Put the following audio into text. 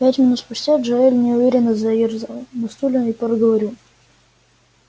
пять минут спустя джаэль неуверенно заёрзал на стуле и проговорил